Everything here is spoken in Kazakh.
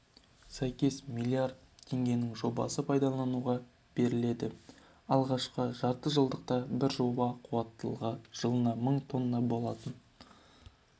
сәйкес миллиард теңгенің жобасы пайдалануға беріледі алғашқы жартыжылдықта бір жоба қуаттылығы жылына мың тонна болатын